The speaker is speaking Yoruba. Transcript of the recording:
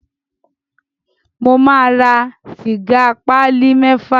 Mo máa ra sìgá pálí mẹ́fà.